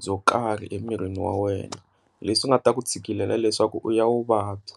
byo karhi emirini wa wena leswi nga ta ku tshikelela leswaku u ya u vabya.